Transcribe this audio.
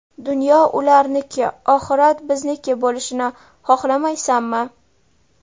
Dunyo ularniki, oxirat bizniki bo‘lishini xohlamaysanmi.